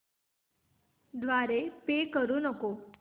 द्वारे पे करू नको